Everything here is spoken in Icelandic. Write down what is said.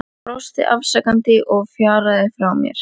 Hann brosti afsakandi og fjaraði frá mér.